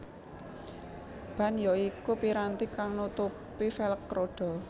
Ban ya iku piranti kang nutupi velg rodha